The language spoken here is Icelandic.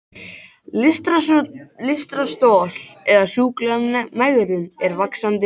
Lystarstol eða sjúkleg megrun er vaxandi vandi.